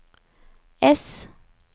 ess